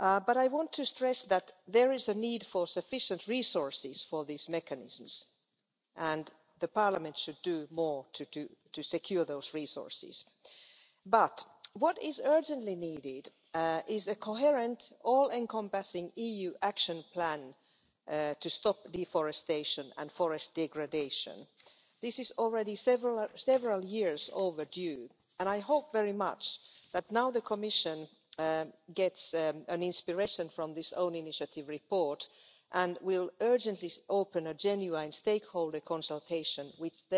I want to stress that there is a need for sufficient resources for these mechanisms and that Parliament should do more to secure those resources. What is urgently needed, however, is a coherent, all encompassing EU action plan to stop deforestation and forest degradation. This is already several years overdue and I hope very much that the Commission will now take inspiration from this own initiative report and will urgently open a genuine stakeholder consultation,